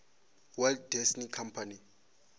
walt disney company